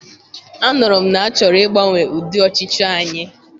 Anụrụ m na achọrọ ịgbanwe ụdị ọchịchị anyị.